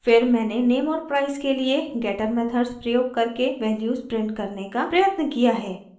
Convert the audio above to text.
फिर मैंने name और price के लिए getter मेथड्स प्रयोग करके वैल्यूज़ प्रिंट करने का प्रयत्न किया है